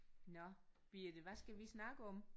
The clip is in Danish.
Nåh Birthe hvad skal vi snakke om?